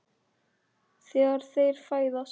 Þegar þeir fæðast